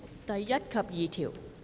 第1及2條。